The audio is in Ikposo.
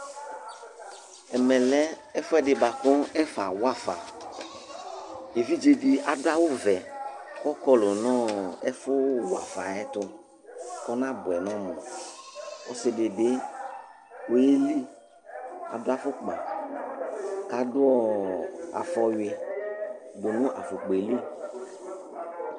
Ɛmɛ lɛ ɛfu ɛdi bua ku ɛfɛ awafa, evidze di adu awù vɛ k'ɔkɔlu nu ɛfu wafa ayiɛtu k'ɔnabuɛ n'ɔmu, ɔsi di bi ɔyeli k'adu afukpa, k'adu afɔwi dunu afukpaɛ li